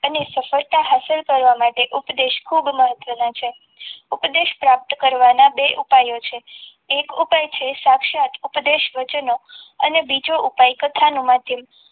અને સફળતા હાસિલ કરવા માટે ઉપદેશ ખૂબ મહત્વનો છે ઉપદેશ પ્રાપ્ત કરવાના બે ઉપાયો છે એક ઉપાય છે સાક્ષાત ઉપદેશ વચન અને બીજો ઉપદેશ કથાનું માધ્યમ